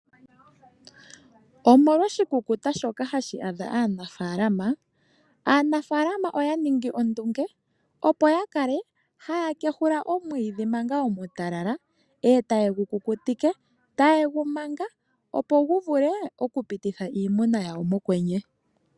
Omolwa oshikukuta shoka hashi adha aanafaalama , aanafaalama oya ningi ondunge opo yakale haya kehula omwiidhi manga omutalala , eta ye gu kukutike, eta ye gu manga opo guvule okupititha iimuna yawo mokwenye.